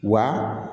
Wa